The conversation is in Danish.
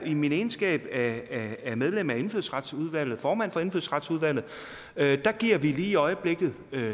i min egenskab af af medlem af indfødsretsudvalget formand for indfødsretsudvalget giver vi lige i øjeblikket